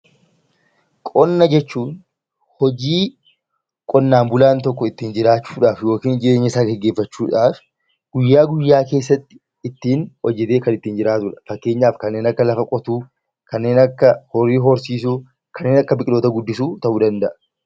Qonna jechuun hojii qonnaan bulaa tokko ittiin jiraachuydhaaf yookiin jireenyasaa gaggeessachuudhaaf guyyaa guyyaa keessatti ittiin hojii kan ittiin jiraatudha. Fakkeenyaaf kanneen akka lafa qotuu, kanneen akka horii horsiisuu, kanneen akka biqiloota guddisuu ta'uu danda'a.